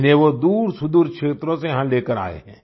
इन्हें वो दूरसुदूर क्षेत्रों से यहाँ लेकर आए है